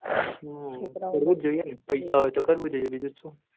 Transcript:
હમ કરવુજ જોઈં ને પૈસા હોઈ તો કરવું જોઈં